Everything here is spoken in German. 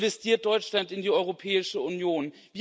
bürgerin investiert Deutschland in die Europäische Union.